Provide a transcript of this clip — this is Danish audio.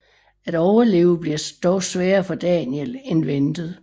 At overleve bliver dog sværere for Daniel end ventet